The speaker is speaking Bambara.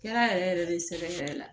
Kɛra yɛrɛ yɛrɛ de sɛbɛ yɛrɛ la